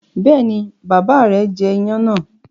Bẹ́ẹ̀ni, bàbá rẹ̀ jẹ iyán náà.